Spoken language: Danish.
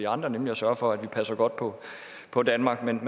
andre nemlig at sørge for at vi passer godt på danmark men